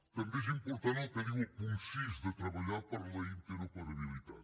també és important el que diu el punt sis de treballar per la interoperabilitat